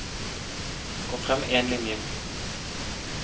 Gå frem én linje